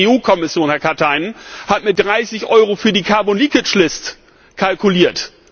Übrigens, die EU Kommission, Herr Katainen, hat mit 30 EUR für die carbon list kalkuliert.